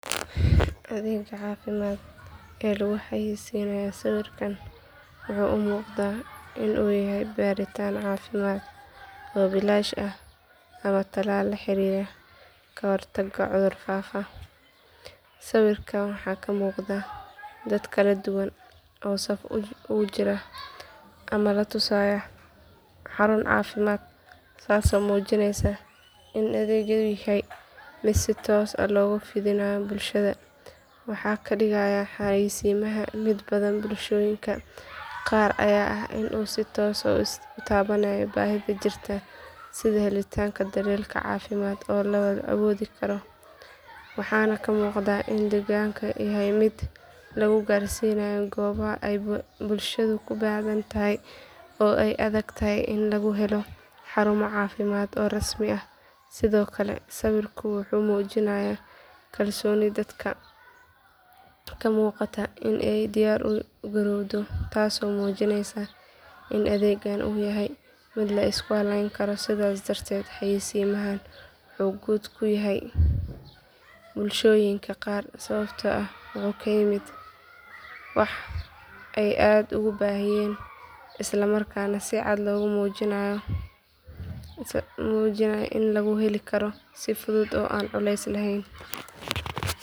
Adeegga caafimaad ee lagu xayeysiinayo sawirkan wuxuu u muuqdaa in uu yahay baaritaan caafimaad oo bilaash ah ama tallaal la xiriira ka hortagga cudur faafa sawirka waxaa ka muuqda dad kala duwan oo saf u jira ama la tusayo xarun caafimaad taasoo muujinaysa in adeeggu yahay mid si toos ah loogu fidinayo bulshada waxa ka dhigaya xayeysiimahan mid badan bulshooyinka qaar ayaa ah in uu si toos ah u taabanayo baahida jirta sida helitaanka daryeel caafimaad oo la awoodi karo waxaana muuqata in adeeggani yahay mid lagu gaarsiinayo goobaha ay bulshadu ku badan tahay oo ay adag tahay in laga helo xarumo caafimaad oo rasmi ah sidoo kale sawirku wuxuu muujinayaa kalsooni dadka ka muuqata iyo u diyaar garowgooda taasoo muujinaysa in adeeggan uu yahay mid la isku halayn karo sidaas darteed xayeysiimahan wuxuu guul ku yahay bulshooyinka qaar sababtoo ah wuxuu la yimid wax ay aad ugu baahnaayeen isla markaana si cad loogu muujiyay in lagu heli karo si fudud oo aan culeys lahayn